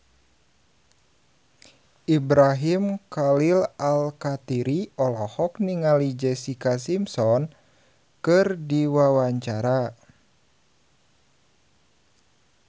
Ibrahim Khalil Alkatiri olohok ningali Jessica Simpson keur diwawancara